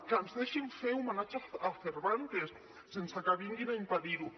que ens deixin fer homenatge a cervantes sense que vinguin a impedir ho